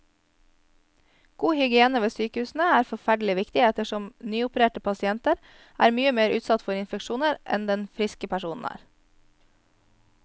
God hygiene ved sykehusene er forferdelig viktig ettersom nyopererte pasienter er mye mer utsatt for infeksjoner enn det friske personer er.